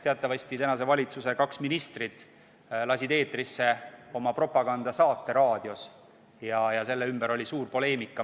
Teatavasti lasid kaks tänase valitsuse ministrit raadios eetrisse oma propagandasaate ja selle ümber oli suur poleemika.